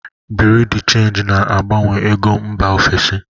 Bureau de change na-agbanwe ego mba ofesi.